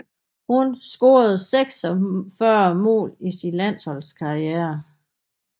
Hun scorede 46 mål i sin landshold karriere